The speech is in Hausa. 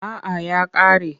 A’a ya ƙare.